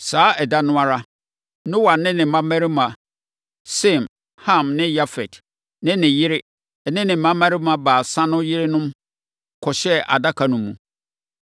Saa ɛda no ara, Noa ne ne mmammarima Sem, Ham ne Yafet ne ne yere ne ne mmammarima baasa no yerenom kɔhyɛɛ adaka no mu.